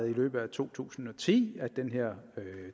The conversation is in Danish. i løbet af to tusind og ti at den her